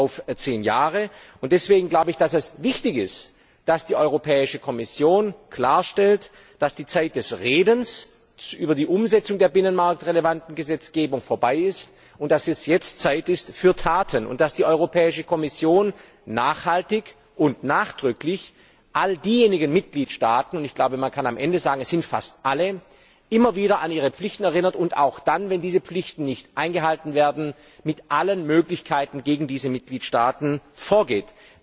auf 10 Jahre und deswegen glaube ich, dass es wichtig ist, dass die Europäische Kommission klarstellt, dass die Zeit des Redens über die Umsetzung der binnenmarktrelevanten Gesetzgebung vorbei ist und dass es jetzt an der Zeit ist für Taten. Es ist wichtig, dass die Europäische Kommission nachhaltig und nachdrücklich all diejenigen Mitgliedstaaten ich glaube, man kann am Ende sagen, es sind fast alle immer wieder an ihre Pflichten erinnert und, wenn diese Pflichten nicht eingehalten werden, mit allen Möglichkeiten gegen diese Mitgliedstaaten vorgeht.